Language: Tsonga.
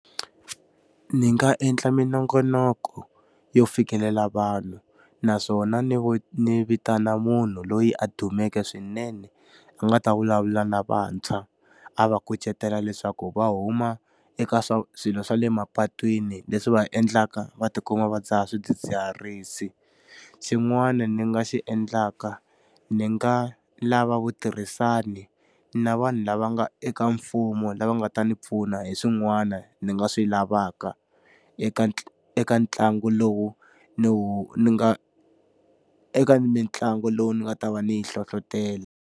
Ndzi nga endla minongonoko yo fikelela vanhu, naswona ni ndzi vitana munhu loyi a dumeke swinene a nga ta vulavula na vantshwa, a va kucetela leswaku va huma eka swilo swa le mapatwini leswi va endlaka va ti kuma va dzaha swidzidziharisi. Xin'wani ndzi nga xi endlaka ndzi nga lava vutirhisani na vanhu lava nga eka mfumo lava nga ta ndzi pfuna hi swin'wana ni nga swi lavaka eka eka ntlangu lowu ndzi wu ndzi nga eka mitlangu lowu ni nga ta va ndzi yi hlohletela.